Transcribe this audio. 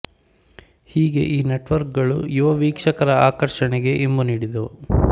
ಹೀಗೆ ಈ ನೆಟ್ವರ್ಕ್ ಗಳು ಯುವ ವೀಕ್ಷಕರ ಆಕರ್ಷಣೆಗೆ ಇಂಬು ನೀಡಿದವು